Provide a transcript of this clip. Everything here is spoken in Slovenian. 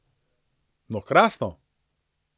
No, krasno!